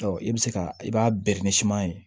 Ɔ i bɛ se ka i b'a